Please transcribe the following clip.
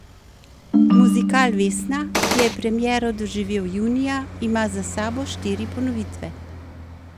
Muzikal Vesna, ki je premiero doživel junija, ima za sabo štiri ponovitve.